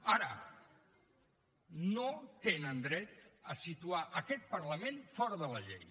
ara no tenen dret a situar aquest parlament fora de la llei